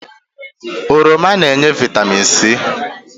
Oroma na-enye vitamin C